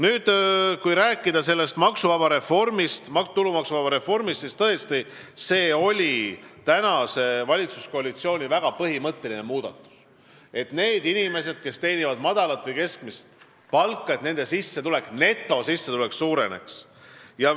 Kui nüüd rääkida sellest tulumaksuvaba miinimumi reformist, siis see oli tõesti praeguse valitsuskoalitsiooni väga põhimõtteline muudatus, et nendel inimestel, kes teenivad madalat või keskmist palka, netosissetulek suureneks.